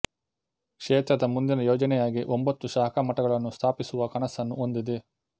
ಕ್ಷೇತ್ರದ ಮುಂದಿನ ಯೋಜನೆಯಾಗಿ ಒಂಭತ್ತು ಶಾಖಾ ಮಠಗಳನ್ನು ಸ್ಥಾಪಿಸುವ ಕನಸನ್ನು ಹೊಂದಿದೆ